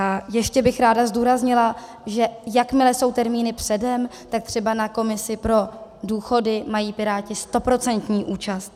A ještě bych ráda zdůraznila, že jakmile jsou termíny předem, tak třeba na komisi pro důchody mají Piráti stoprocentní účast.